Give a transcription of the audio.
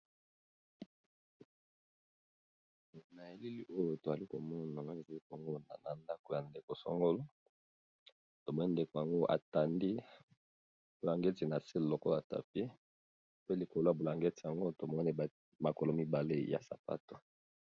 Na elili oyo toali komona nga nazali komona na ndaku ya ndeko songolo, tomoni ndeko yango atandi bulangeti na se Lokola tapis pe likolo ya bulangeti yango tomoni makolo mibale ya sapatu.